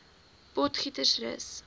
potgietersrus